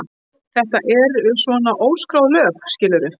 Þetta eru svona óskráð lög, skilurðu.